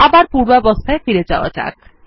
আবার পূর্বাবস্থায় ফিরে যাওয়া যাক